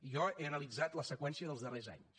jo he analitzat la seqüència dels darrers anys